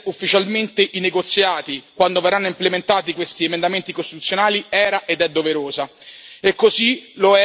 La richiesta di sospendere ufficialmente i negoziati quando verranno implementati questi emendamenti costituzionali era ed è doverosa.